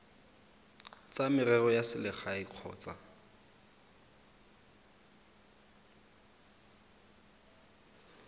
tsa merero ya selegae kgotsa